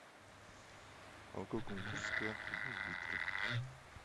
молоко кунгурское один литр